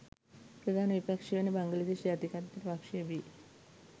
ප්‍රධාන විපක්ෂය වන බංගලිදේශ ජාතිකත්ව පක්ෂය බි.